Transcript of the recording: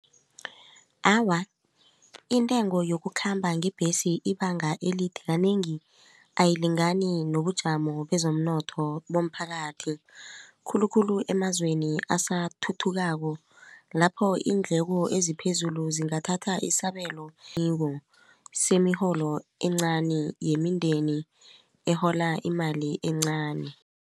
Awa, intengo yokukhamba ngebhesi ibanga elide kanengi ayilingani nobujamo bezomnotho bomphakathi khulukhulu emazweni asathuthukako lapho iindleko eziphezulu zingathatha isabelo semiholo encani yemindeni ehola imali encani.